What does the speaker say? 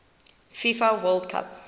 fifa world cup